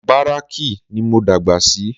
Báràkì ní mo dàgbà sí